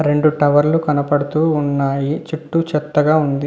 రెండు టవర్ లు కనబడుతూ ఉన్నాయి చుట్టూ చెత్తగా ఉంది.